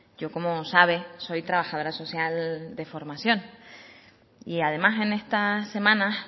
yo como sabe soy trabajadora social de formación y además en estas semanas